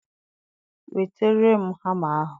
nwetere m hamma ahụ.